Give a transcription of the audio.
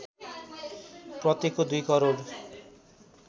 प्रत्येकको २ करोड